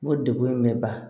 O degun in bɛ ban